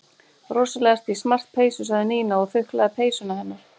Rosalega ertu í smart peysu sagði Nína og þuklaði peysuna hennar.